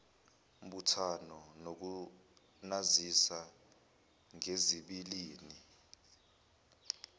mbuthano nokunazisa ngezibilini